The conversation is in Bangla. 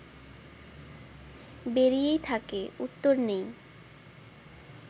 বেরিয়েই থাকে, উত্তর নেই